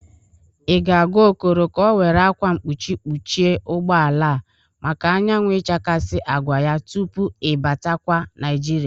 Ị ga-agwa Okoro ka ọ were akwa mpuchi kpuchie ụgbọala a maka anyawụ ichakasị agwa ya tupu i batakwa Naịjịrịa?